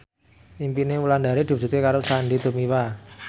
impine Wulandari diwujudke karo Sandy Tumiwa